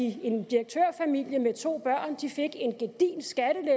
at en direktørfamilie med to børn fik en det